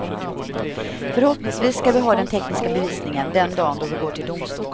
Förhoppningsvis skall vi ha den tekniska bevisningen den dagen då vi går till domstol.